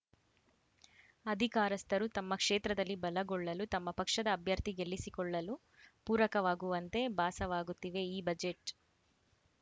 ಅಧಿಕಾರಸ್ಥರು ತಮ್ಮ ಕ್ಷೇತ್ರದಲ್ಲಿ ಬಲಗೊಳ್ಳಲು ತಮ್ಮ ಪಕ್ಷದ ಅಭ್ಯರ್ಥಿ ಗೆಲ್ಲಿಸಿಕೊಳ್ಳಲು ಪೂರಕವಾಗುವಂತೆ ಭಾಸವಾಗುತ್ತಿವೆ ಈ ಬಜೆಟ್‌